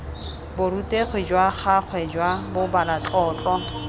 borutegi jwa gagwe jwa bobalatlotlo